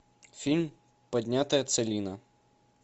фильм поднятая целина